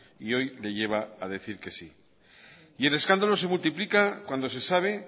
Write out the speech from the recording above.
y hoy le lleva a decir que sí y el escándalo se multiplica cuando se sabe